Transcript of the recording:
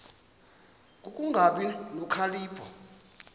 ku kungabi nokhalipho